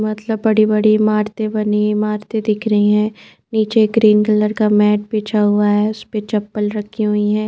मतलब बड़ी-बड़ी इमारते बनी इमारते दिख रही है नीचे एक ग्रीन कलर का मैट बिछा हुआ है उसपे चप्पल रखी हुई है।